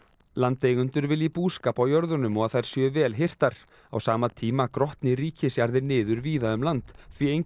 landeigendur vilji búskap á jörðunum og að þær séu vel hirtar á sama tíma grotni ríkisjarðir niður víða um land því enginn